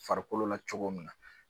Farikolo la cogo min na